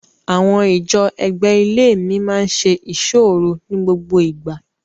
Àwọn ìjọ ẹ̀gbẹ́ ilée wa máa ń ṣe iṣọ́ òru ní gbogbo ìgbà.